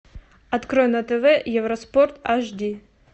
открой на тв евроспорт аш ди